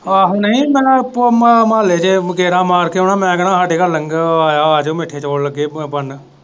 ਆਹੋ ਨਹੀਂ ਮੈਂ ਇੱਕ ਮਹੁੱਲੇ ਦੇ ਗੇੜਾ ਮਾਰ ਕੇ ਆਉਣਾ ਮੈਂ ਕਹਿਣਾ ਸਾਡੇ ਘਰ ਲੰਗਰ ਆਜੋ ਮਿੱਠੇ ਚੋਲ ਲੱਗੇ ਬਨਣ।